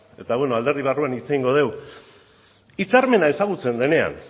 eta beno alderdi barruan hitz egingo dugu hitzarmena ezagutzen denean